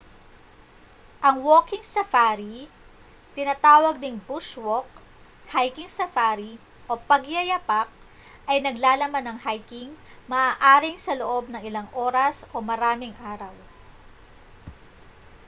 ang walking safari tinatawag ding bush walk hiking safari o pagyayapak ay naglalaman ng hiking maaaring sa loob ng ilang oras o maraming araw